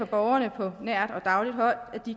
borgerne på nært og dagligt hold